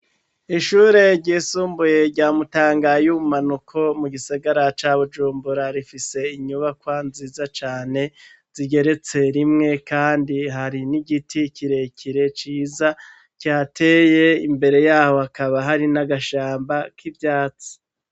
Ishure ryisumbuye rya Mutanga y' ubumanuko mu gisagara ca Bujumbura, rifise inyubakwa nziza cane zigeretse rimwe kandi hari n'igiti kirekire ciza kihateye, imbere yaho akaba hari n'agashamba k'ivyatsi.